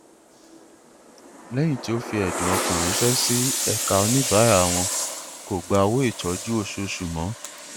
lẹyìn tí o fi ẹdùn ọkàn ránṣẹ sí ẹka oníbàárà wọn kò gba owó ìtọjú oṣooṣù mọ